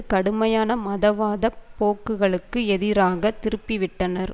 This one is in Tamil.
கடுமையான மதவாதப் போக்குகளுக்கு எதிராக திருப்பிவிட்டனர்